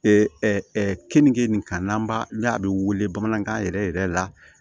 kenige nin kan n'an b'a la a bɛ wele bamanankan yɛrɛ yɛrɛ la